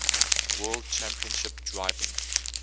world championship driving